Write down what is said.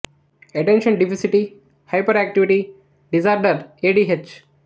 attention deficit hyperactivity disorder A D H